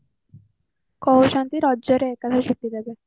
କହୁଛନ୍ତି ରାଜରେ ଏକାବେଳେ ଛୁଟି ଦେବେ